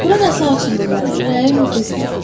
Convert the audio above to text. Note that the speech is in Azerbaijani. Bura nəsə açılmır mənə, ürəyim qızmır.